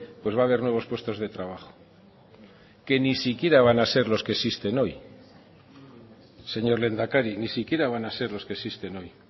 pues va a haber nuevos puestos de trabajo que ni siquiera van a ser los que existen hoy señor lehendakari ni siquiera van a ser los que existen hoy